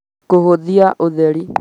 kũhũthia ũtheri